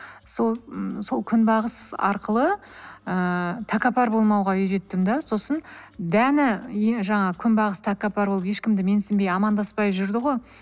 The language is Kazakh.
сол м сол күнбағыс арқылы ыыы тәкаппар болмауға үйреттім да сосын дәні иә жаңағы күнбағыс тәкаппар болып ешкімді менсінбей амандаспай жүрді ғой